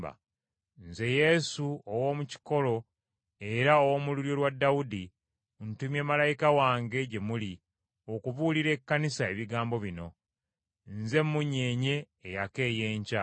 “Nze Yesu, ow’omu kikolo era ow’omu lulyo lwa Dawudi, ntumye malayika wange gye muli okubuulira Ekkanisa ebigambo bino. Nze Mmunyeenye eyaka ey’Enkya.”